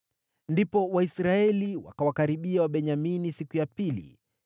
Ndipo Waisraeli wakawakaribia Wabenyamini siku ya pili.